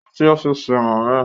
Ó lọ sí ọ́fíìsì màmá ẹ